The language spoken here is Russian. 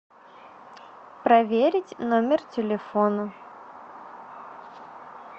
проверить номер телефона